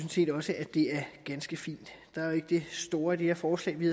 set også at det er ganske fint der er jo ikke det store i det her forslag vi